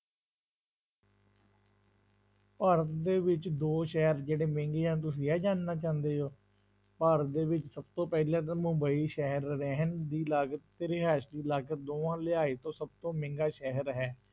ਭਾਰਤ ਦੇ ਵਿੱਚ ਦੋ ਸ਼ਹਿਰ ਜਿਹੜੇ ਮਹਿੰਗੇ ਹਨ, ਤੁਸੀਂ ਇਹ ਜਾਣਨਾ ਚਾਹੁੰਦੇ ਹੋ, ਭਾਰਤ ਦੇ ਵਿੱਚ ਸਭ ਤੋਂ ਪਹਿਲਾ ਤਾਂ ਮੁੰਬਈ ਸ਼ਹਿਰ ਰਹਿਣ ਦੀ ਲਾਗਤ ਤੇ ਰਿਹਾਇਸ ਦੀ ਲਾਗਤ ਦੋਹਾਂ ਲਿਹਾਇਜ ਤੋਂ ਸਭ ਤੋਂ ਮਹਿੰਗਾ ਸ਼ਹਿਰ ਹੈ।